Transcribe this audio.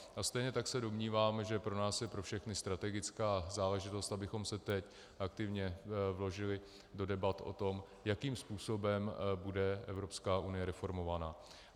A stejně tak se domnívám, že pro nás je pro všechny strategická záležitost, abychom se teď aktivně vložili do debat o tom, jakým způsobem bude Evropská unie reformovaná.